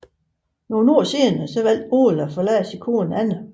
Nogle år senere valgte Ole at forlade sin kone Anna